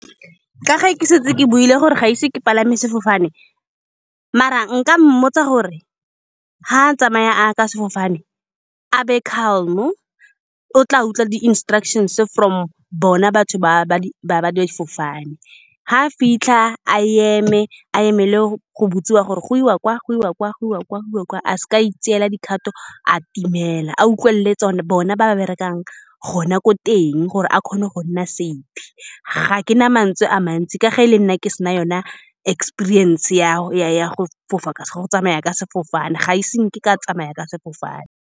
Ka ga ke setse ke buile gore ga se ke palame sefofane, mara nka mmotsa gore fa a tsamaya ka sefofane a be calm-o. O tla utlwa di-instructions-e from bona batho ba ba di, ba-ba difofane. Fa a fitlha a eme, a emele go-go bodiwa gore goiwa kwa, goiwa kwa, goiwa kwa. A seka a itseela dikgato, a timela. A utlwelele bona ba ba berekang gona ko teng, gore a kgone go nna safe. Ga ke na mantswe a mantsi ka ga e le nna ke se na yone experience ya ya-ya go fofa ka go, ya go tsamaya ka sefofane. Ga e se nke ka tsamaya ka sefofane.